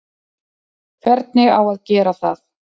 Hvernig á að gera það?